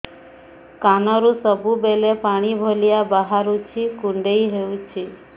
କାନରୁ ସବୁବେଳେ ପାଣି ଭଳିଆ ବାହାରୁଚି କୁଣ୍ଡେଇ ହଉଚି